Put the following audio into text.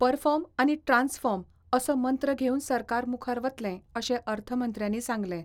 Perform आनी transform असो मंत्र घेवन सरकार मुखार वतलें, अशें अर्थमंत्र्यांनी सांगलें.